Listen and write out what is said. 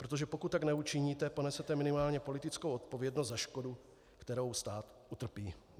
Protože pokud tak neučiníte, ponesete minimálně politickou odpovědnost za škodu, kterou stát utrpí.